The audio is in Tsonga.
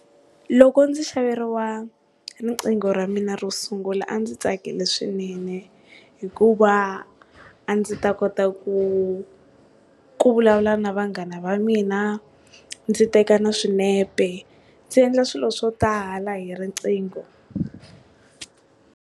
Loko ndzi xaveriwa riqingho ra mina ro sungula a ndzi tsakile swinene hikuva a ndzi ta kota ku ku vulavula na vanghana va mina ndzi teka na swinepe ndzi endla swilo swo tala hi riqingho.